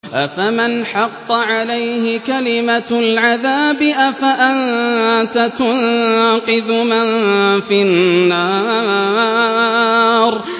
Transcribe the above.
أَفَمَنْ حَقَّ عَلَيْهِ كَلِمَةُ الْعَذَابِ أَفَأَنتَ تُنقِذُ مَن فِي النَّارِ